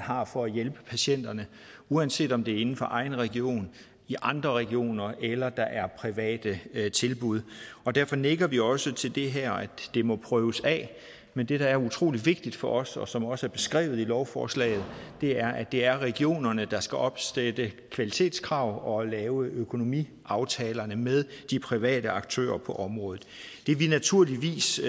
har for at hjælpe patienterne uanset om det er inden for egen region i andre regioner eller er private tilbud og derfor nikker vi også til det her det må prøves af men det der er utrolig vigtigt for os og som også er beskrevet i lovforslaget er at det er regionerne der skal opsætte kvalitetskrav og lave økonomiaftalerne med de private aktører på området det vi naturligvis